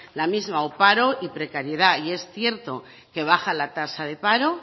la misma o paro o precariedad y es cierto que baja la tasa de paro